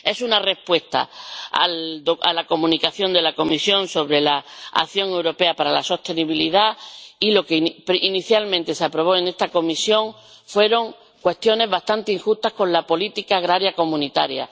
Es una respuesta a la Comunicación de la Comisión sobre la acción europea para la sostenibilidad y, lo que inicialmente se aprobó en esta comisión fueron cuestiones bastante injustas con la política agraria comunitaria.